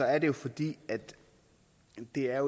er det fordi det er